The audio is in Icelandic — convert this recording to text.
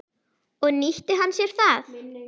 Og nýtti hann sér það.